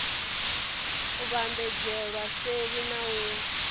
u vhambadzelwa seli na u